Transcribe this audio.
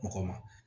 Mɔgɔ ma